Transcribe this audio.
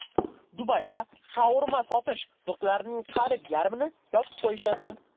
Dubayda shaurma sotish nuqtalarining qariyb yarmini yopib qo‘yishadi.